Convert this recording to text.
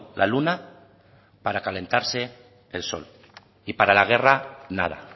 la luna para calentarse el sol y para la guerra nada